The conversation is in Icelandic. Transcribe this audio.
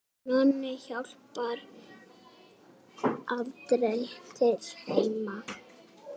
Nonni hjálpar aldrei til heima.